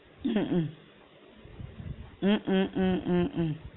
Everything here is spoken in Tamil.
ஹம் உம் உம் உம் உம் உம்